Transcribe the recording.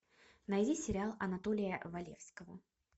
найди сериал анатолия валевского